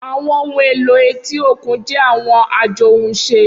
Awọn ohun elo eti okun jẹ awọn ajohunše.